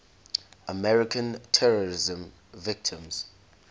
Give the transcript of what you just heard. american terrorism victims